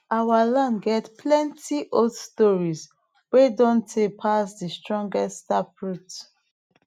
our land get plenty old stories wey don tey pass de strongest taproot